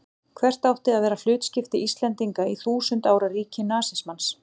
Hvert átti að vera hlutskipti Íslendinga í þúsund ára ríki nasismans?